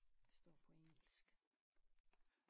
Står på engelsk